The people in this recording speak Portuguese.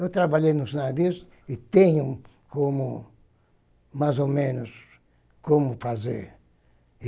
Eu trabalhei nos navios e tenho como, mais ou menos, como fazer.